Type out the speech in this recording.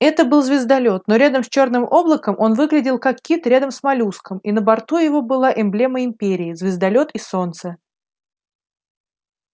это был звездолёт но рядом с чёрным облаком он выглядел как кит рядом с моллюском и на борту его была эмблема империи звездолёт и солнце